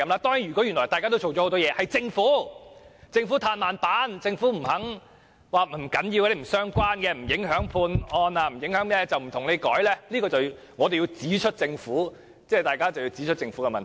當然，如果議員原來已做了很多工作，只是政府"嘆慢板"，不肯處理，說這些用詞不重要、不相關、不影響判案，便不作修改，這樣大家便要指出政府的問題。